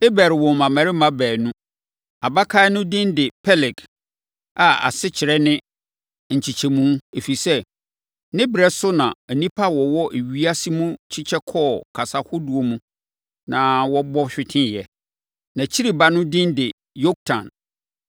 Eber woo mmammarima baanu. Abakan no din de Peleg a asekyerɛ ne “nkyekyɛmu” ɛfiri sɛ, ne berɛ so na nnipa a wɔwɔ ewiase mu kyekyɛ kɔɔ kasa ahodoɔ mu na wɔbɔ hweteeɛ. Nʼakyiri ba no din de Yoktan.